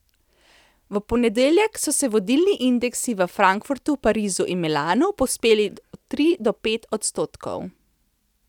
V ponedeljek so se vodilni indeksi v Frankfurtu, Parizu in Milanu povzpeli od tri do pet odstotkov.